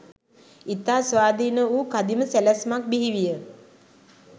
ඉතා ස්වාධීන වූ කදිම සැලැස්මක් බිහිවිය.